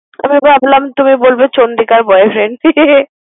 আমি ভাবছিলাম। তুমি বলবে চন্দ্রিকার boyfriend ।